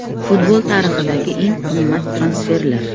Futbol tarixidagi eng qimmat transferlar.